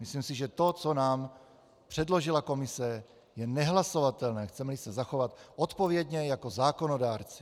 Myslím, že to, co nám předložila komise, je nehlasovatelné, chceme-li se zachovat odpovědně jako zákonodárci.